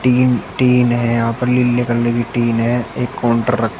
तीन टीन है यहां पर लीले कलर की टीन है एक काउंटर रख--